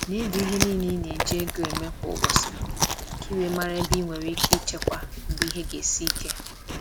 Na-ede ihe niile i na-eji ego mee kwa ụbọchị, ka i wee mara ebe i nwere ike ichekwa mgbe ihe ga esi ike.